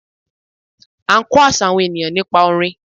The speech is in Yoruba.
A n kó àṣà àwọn ènìyãn nípa orin